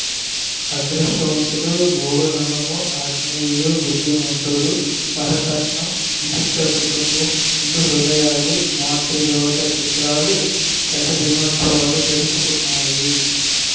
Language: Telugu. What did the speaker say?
అదృష్టవంతులు మూగనోము ఆత్మీయులు బుద్ధిమంతుడు వరకట్నం విచిత్ర కుటుంబం నిండు హృదయాలు మాతృదేవత చిత్రాలు శతదినోత్సవాలు జరుపుకున్నాయి